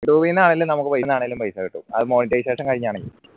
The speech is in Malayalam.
youtube ന്നാണെലു നമുക്ക് പൈസ കിട്ടും അത് monetization കഴിഞ്ഞണേൽ